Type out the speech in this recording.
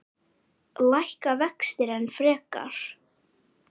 Lækka vextir enn frekar?